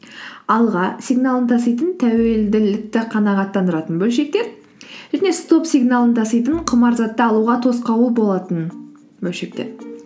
алға сигналын таситын тәуелділікті қанағаттандыратын бөлшектер және стоп сигналын таситын құмар затты алуға тосқауыл болатын бөлшектер